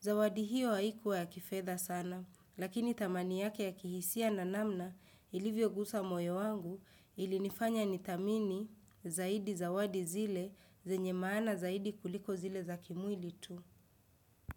Zawadi hiyo haikua ya kifedha sana, lakini thamani yake ya kihisia na namna ilivyo gusa moyo wangu ili nifanya nithamini zaidi zawadi zile zenye maana zaidi kuliko zile za kimwili tu.